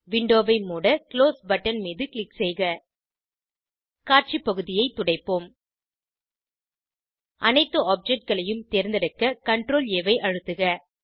விண்டோவை மூட close button மீது க்ளிக் செய்க காட்சி பகுதியை துடைப்போம் அனைத்து ஆப்ஜெக்ட் களையும் தேர்ந்தெடுக்க CTRL A ஐ அழுத்துக